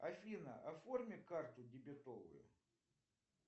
афина оформи карту дебетовую